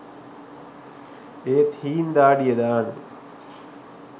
ඒත් හීං දාඩිය දාන්නෙ